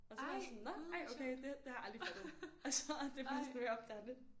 Og så er man sådan nåh ej okay det det har jeg aldrig fattet altså det er først nu jeg opdager det